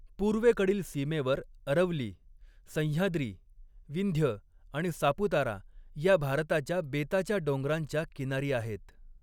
पूर्वेकडील सीमेवर अरवली, सह्याद्री, विंध्य आणि सापुतारा या भारताच्या बेताच्या डोंगरांच्या किनारी आहेत.